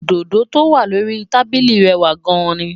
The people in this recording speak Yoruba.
Òdòdó tó wà lórí i tábíli rẹwà gan-an ni